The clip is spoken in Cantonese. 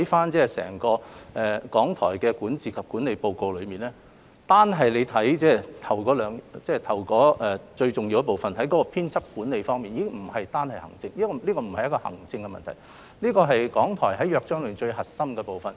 只要細閱整份《檢討報告》，便可發現單是開首最重要部分提到的編輯管理，已不屬於行政問題，而是港台根據《約章》的最核心功能。